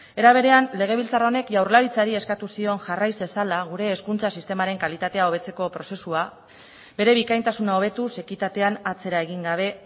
era berean legebiltzar honek jaurlaritzari eskatu zion jarrai zezala gure hezkuntza sistemaren kalitatea hobetzeko prozesua bere bikaintasuna hobetuz ekitatean atzera egin gabe